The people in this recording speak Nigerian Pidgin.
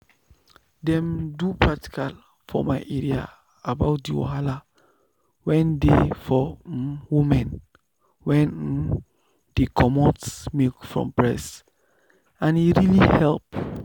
them do practical for my area about the wahala wen dey for um women wen um dey comot milk from breast and e really help.